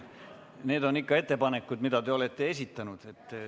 Need on ikka ettepanekud, mis te olete esitanud.